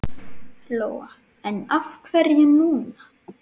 Lóa: En af hverju núna?